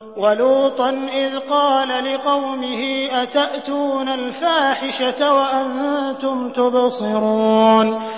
وَلُوطًا إِذْ قَالَ لِقَوْمِهِ أَتَأْتُونَ الْفَاحِشَةَ وَأَنتُمْ تُبْصِرُونَ